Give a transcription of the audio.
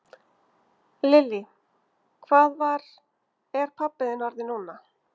Lillý: Hvað var, er pabbi þinn orðinn núna?